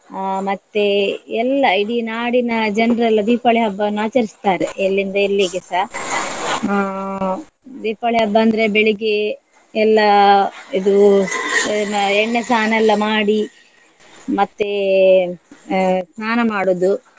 ಅಹ್ ಮತ್ತೆ ಎಲ್ಲ ಇಡೀ ನಾಡಿನ ಜನ್ರೆಲ್ಲ ದೀಪಾವಳಿ ಹಬ್ಬವನ್ನ ಆಚರಿಸುತ್ತಾರೆ ಎಲ್ಲಿಂದ ಎಲ್ಲಿಗೆಸ. ಅಹ್ ದೀಪಾವಳಿ ಹಬ್ಬ ಅಂದ್ರೆ ಬೆಳಿಗ್ಗೆ ಎಲ್ಲ ಇದು ಏನು ಎಣ್ಣೆ ಸ್ನಾನ ಎಲ್ಲ ಮಾಡಿ ಮತ್ತೇ ಅಹ್ ಸ್ನಾನ ಮಾಡುದು.